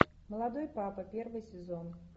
молодой папа первый сезон